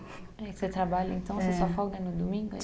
É que você trabalha, então, você só folga no domingo?